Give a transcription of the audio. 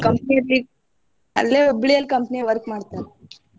Company ಲೀ ಅಲ್ಲೆ Hubli ಯಲ್ಲಿ company ಲಿ work ಮಾಡ್ತಾರಿ.